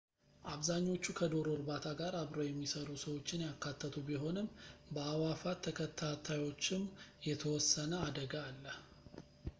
አብዛኛዎቹ ከዶሮ እርባታ ጋር አብረው የሚሰሩ ሰዎችን ያካተቱ ቢሆንም በአእዋፋት ተከታታዮችም የተወሰነ አደጋ አለ